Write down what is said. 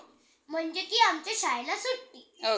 म्हणजे की आमच्या शाळेला सुट्टी